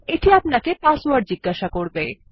এটি আপানকে পাসওয়ার্ড জিজ্ঞাসা করবে